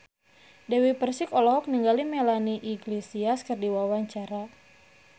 Dewi Persik olohok ningali Melanie Iglesias keur diwawancara